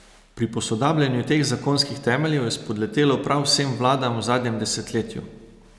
Pri posodabljanju teh zakonskih temeljev je spodletelo prav vsem vladam v zadnjem desetletju.